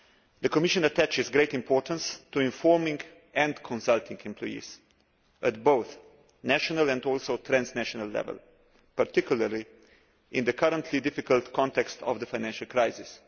The Commission attaches great importance to informing and consulting employees at both national and transnational level, particularly in the current difficult context of the financial crisis.